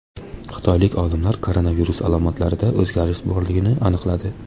Xitoylik olimlar koronavirus alomatlarida o‘zgarish borligini aniqladi.